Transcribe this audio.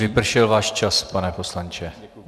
Vypršel váš čas, pane poslanče.